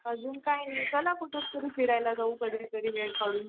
अजून काय नाही चला कुठेतरी फिरायला जाऊ कधीतरी वेळ काढून.